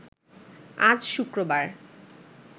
আজ শুক্রবার